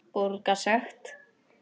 Borga sekt?